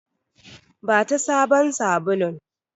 Bata sabon sabulun!